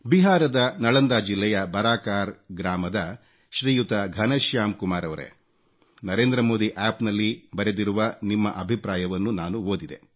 ಬಿಹಾರದ ನಳಂದಾ ಜಿಲ್ಲೆಯ ಬರಾಕರ್ ಗ್ರಾಮದ ಶ್ರೀಯುತ ಘನಶ್ಯಾಂ ಕುಮಾರ್ ರವರೇ NarendraModiApp ನಲ್ಲಿ ಬರೆದಿರುವ ನಿಮ್ಮ ಅಭಿಪ್ರಾಯವನ್ನು ನಾನು ಓದಿದೆ